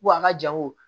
Ko a ka jango